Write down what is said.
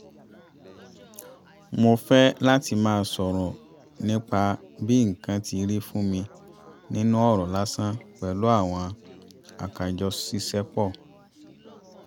mo fẹ́ láti má sọ̀rọ̀ nípa bí nǹkan tí rí fún mi nínú ọ̀rọ̀ lásán pẹ̀lú àwọn àkájọṣiṣepọ̀